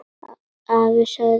Afi, sagði hún.